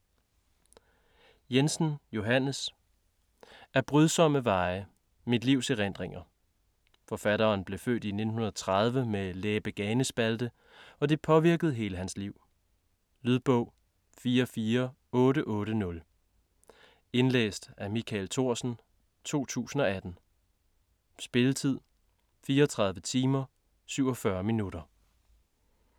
Jensen, Johannes: Ad brydsomme veje: mit livs erindringer Forfatteren blev født i 1930 med læbe-ganespalte og det påvirkede hele hans liv. Lydbog 44880 Indlæst af Michael Thorsen, 2018. Spilletid: 34 timer, 47 minutter.